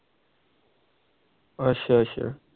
ਅੱਛਾ ਅੱਛਾ